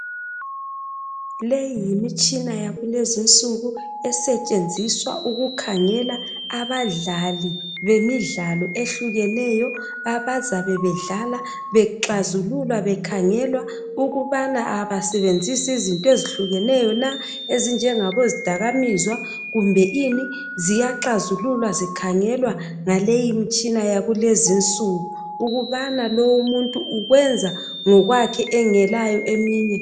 Leyi yimitshina yakulezi insuku esetshenziswa ukukhangela abadlali bemidlalo ehlukeneyo. Abazabe bedlala, beklazululwa , bekhangelwa ukubana abasebenzisi izinto ezihlukeneyo na ezinjengabozidakamizwa . Kumbeni Ziyaklazululwa zikhangelwa ngemitshina yakulezi insuku. Ukubana lo umuntu ukwenza ngokwakhe, engelayo eminye...